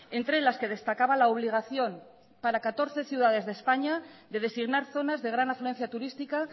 entre las que destacaba la obligación para catorce ciudades de españa de designar zonas de gran afluencia turística